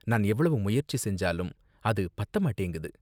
நான் எவ்வளவு முயற்சி செஞ்சாலும் அது பத்த மாட்டேங்குது.